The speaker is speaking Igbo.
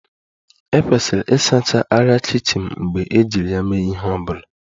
E kwesiri ịsacha arịa kichin mgbe ejiri ya mee ihe ọ bụla